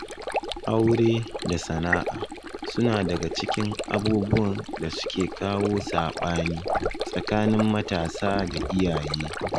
Aure da sana'a suna daga cikin abubuwan da suke kawo saɓani tsakanin matasa da iyaye.